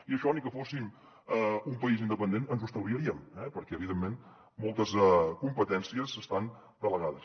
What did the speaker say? i això ni que fóssim un país independent no ens ho estalviaríem eh perquè evidentment moltes competències estan delegades